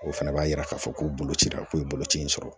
O fana b'a jira k'a fɔ ko boloko cira k'o ye boloci in sɔrɔ